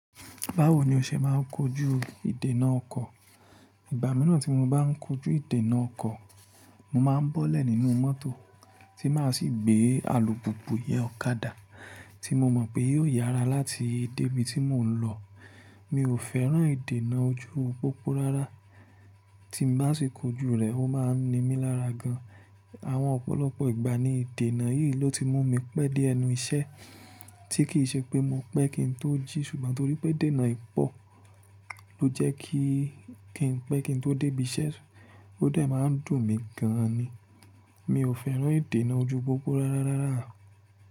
Báwo ni o ṣe máa ń kojú ìdènà ọkọ̀? Ìgbà mìíràn tí mo bá ń kojú ìdènà ọkọ̀, mo máa ń bọ́lẹ̀ nínú mọ́tò tí máa sì gbé alùpùpù yẹn ọ̀kadà tí mo mọ̀ pé yóò yára láti dé ibi tí mò ń lọ. Mi ò fẹ́ràn ìdènà ojú pópó rárá, tí n bá sì kojú rẹ̀, ó máa ń ni mí lára gan. Àwọn ọ̀pọ̀lọpọ̀ ìgbà ni ìdènà yìí ló ti mú mi pẹ́ dé ẹnu iṣẹ́ tí kì í ṣe pé mo pẹ́ kí n tó jí ṣùgbọ́n torí pé idènà yii pọ̀ ló jẹ́ kí n pẹ́ kí n tó dé ibi iṣẹ́, ó de máa ń dùn mí gan ni. Mi ò fẹ́ràn ìdènà ojú pópó rárá rárá.